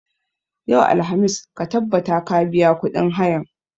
Yau, alhamis, ka tabbata ka biya kuɗin hayan!